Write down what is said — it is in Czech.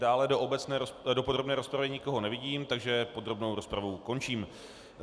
Dále do podrobné rozpravy nikoho nevidím, takže podrobnou rozpravu končím.